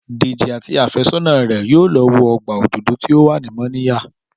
Dèjì àti àfẹ́sọ́nà rẹ̀ yóò lọ wo ọgbà òdòdó tó wà ní Mọ́níyà